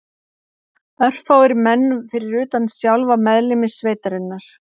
Örfáir menn fyrir utan sjálfa meðlimi sveitarinnar